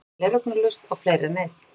Hún las gleraugnalaust á fleiri en einn